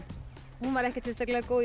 hún var ekkert sérstaklega góð í